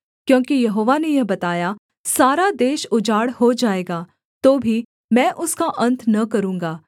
क्योंकि यहोवा ने यह बताया सारा देश उजाड़ हो जाएगा तो भी मैं उसका अन्त न करूँगा